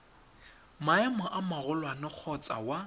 maemo a magolwane kgotsa wa